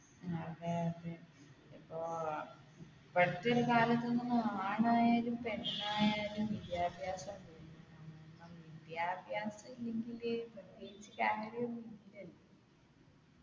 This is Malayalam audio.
അതെ അതെ ഇപ്പോ പഠിച്ചൊരു കാലത്ത് നിന്നൊന്നു ആണായാലും പെണ്ണായാലും വിദ്യാഭ്യാസം വേണം കാരണം വിദ്യാഭ്യാസം ഇല്ലെങ്കില് പ്രതീക്ഷിക്കാനൊരു ഒന്നുമില്ലല്ലോ